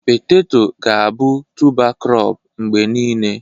Petetọ ga-abụ tụba krọp mgbe niile.